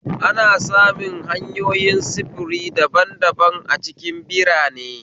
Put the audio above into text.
ana samun hanyoyin sufuri daban daban a cikin birane